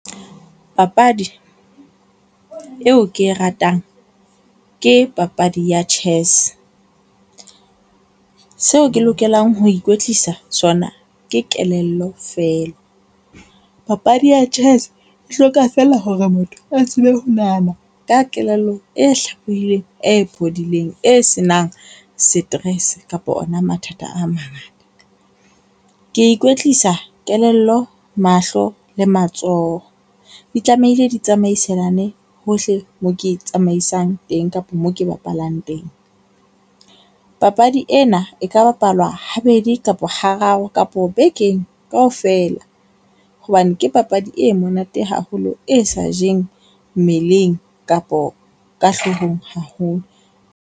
Papadi eo ke e ratang ke papadi ya chess. Seo ke lokelang ho ikwetlisa sona ke kelello feela. Papadi ya chess e hloka fela hore motho a tsebe ho nahana ka kelello e hlalefileng e phodileng, e senang stress kapa ona mathata a mangata. Ke ikwetlisa kelello, mahlo le matsoho. Di tlamehile di tsamaiselane hohle mo ke tsamaisang teng kapa moo ke bapallang teng. Papadi ena e ka bapalwa habedi kapa hararo kapo bekeng kaofela hobane ke papadi e monate haholo, e sa jeng mmeleng kapo ka hloohong haholo.